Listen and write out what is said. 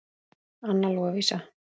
Anna Lovísa.